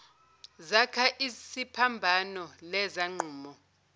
zakha isiphambano lezangqumo